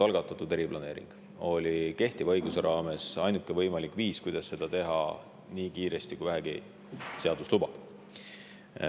Valitsuse algatatud eriplaneering oli kehtiva õiguse raames ainuke võimalik viis, kuidas seda teha nii kiiresti, kui seadus vähegi lubab.